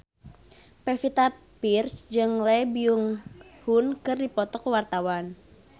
Pevita Pearce jeung Lee Byung Hun keur dipoto ku wartawan